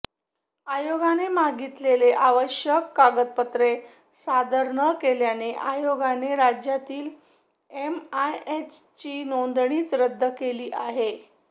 आयोगाने मागितलेली आवश्यक कागदपत्रे सादर न केल्याने आयोगाने राज्यातील एमआयएमची नोंदणीच रद्द केली आहे